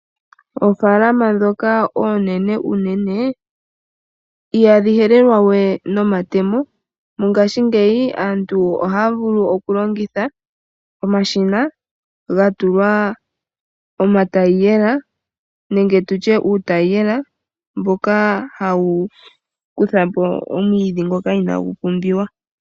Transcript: Oofaalama dhoka oonene noonkondo ihadhi helelwa we nomatemo no ngashingeyi aantu ohaya vulu okulongitha omashina ga tulwa omatayela nenge utayela mboka hawu kuthapo omwiidhi mboka inawu pumbiwa.